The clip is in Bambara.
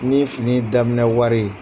Ni fini daminɛ wari ye.